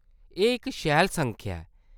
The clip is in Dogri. एह्‌‌ इक शैल संख्या ऐ !